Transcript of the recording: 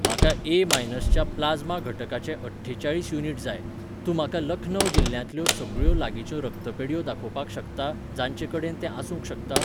म्हाका ए मायनसच्या प्लाज्मा घटकाचे अठ्ठेचाळीस युनिट जाय, तूं म्हाका लखनव जिल्ल्यांतल्यो सगळ्यो लागींच्यो रक्तपेढयो दाखोवपाक शकता जांचे कडेन तें आसूंक शकता?